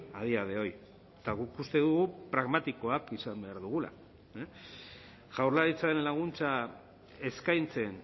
a día de hoy eta guk uste dugu pragmatikoak izan behar dugula jaurlaritzaren laguntza eskaintzen